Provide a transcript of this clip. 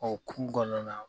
O kun kɔnɔna